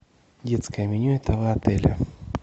детское меню этого отеля